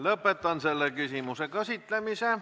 Lõpetan selle küsimuse käsitlemise.